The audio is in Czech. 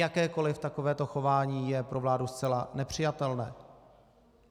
Jakékoli takovéto chování je pro vládu zcela nepřijatelné.